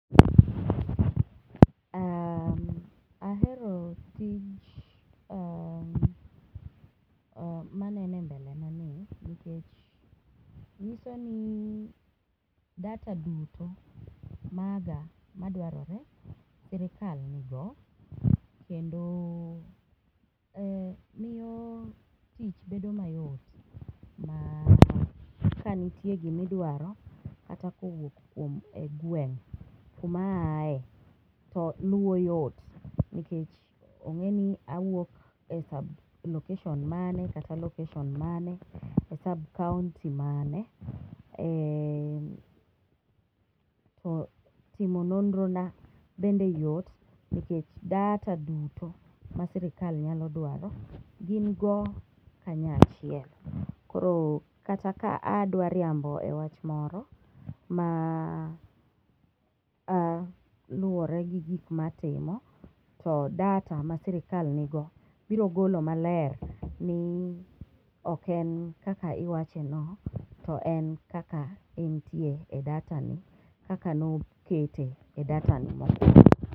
Ahero tij ,maneno e mbele na ni, nikech nyiso ni data duto maga madwarore, sirikal nigo, kendo miyo tich bedo mayot kanitie gimidwaro kata kowuok kuom e gweng' kuma aye, to luwo yot nikech ong'e ni awuok e sub location mane kata e location mane,e sub county mane, timo nonro na bende yot nikech data duto ma sirikal nyalo dwaro gin go kanya chiel, koro kata ka adwa riambo e wach moro ma luore gi gik matimo ,to data ma sirikal nigo biro golo maler ni ok en kaka iwacheno, to en kaka entie e datani, kaka nokete e datani mokwongo.